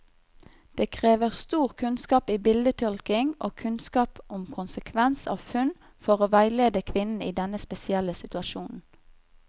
Det krever stor kunnskap i bildetolkning og kunnskap om konsekvens av funn, for å veilede kvinnen i denne spesielle situasjonen.